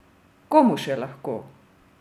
Komu še lahko?